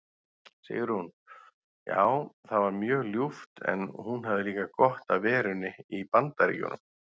Sigrún: Já það var mjög ljúft en hún hafði líka gott af verunni í BAndaríkjunum.